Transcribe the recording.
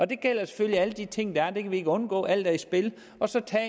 det gælder selvfølgelig alle de ting der er det kan vi ikke undgå alt er i spil og så tager